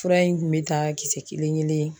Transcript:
Fura in kun be ta kisɛ kelen-kelen